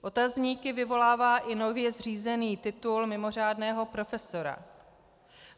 Otazníky vyvolává i nově zřízený titul mimořádného profesora.